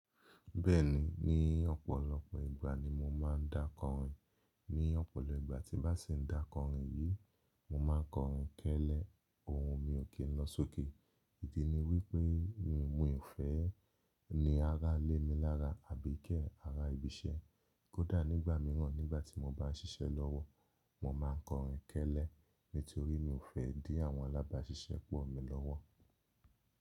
Bẹ́ẹ̀ni, ní ọ̀pọ̀lọpọ̀ ìgbà ni mo máa ń dá kọrin. Ní ọ̀pọ̀lọpọ̀ ìgbà tí bá sì ń dá kọrin yìí, mo ma kọrin kẹ́lẹ́ ohun mi ò kí n lọ sókè. Idi ni wípé mi ò fẹ́ ní ará lé mi lára àbí i kẹ́ ará ibi iṣẹ́. Kódà nígbà mìíràn nígbà tí mo bá ń ṣiṣẹ́ lọ́wọ́, mo ma kọrin kẹ́lẹ́ nítorí mi ò fẹ́ dí àwọn alábáṣiṣẹ́ pọ̀ mi lọ́wọ́.